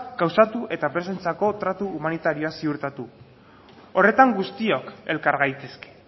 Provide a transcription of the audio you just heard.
gauzatu eta presoentzako tratu humanitarioa ziurtatu horretan guztiok elkar gaitezke